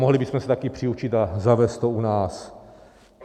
Mohli bychom se také přiučit a zavést to u nás.